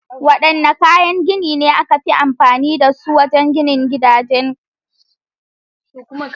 Wadanne kayan gini ne aka fi amfani da su wajen ginin gidaje?